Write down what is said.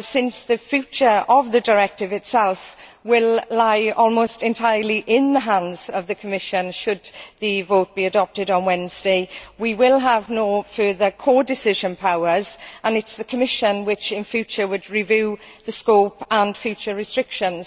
since the future of the directive itself will lie almost entirely in the hands of the Commission should the text be adopted on Wednesday. We will have no further codecision powers and, in future, the Commission would review the scope and the future restrictions.